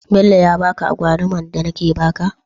Bello ya baka agwalumar da nake ya baka?